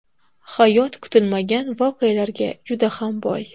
Hayot kutilmagan voqealarga juda ham boy.